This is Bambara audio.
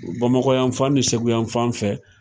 Bamakɔ yan fan ni seku yan fan fɛ.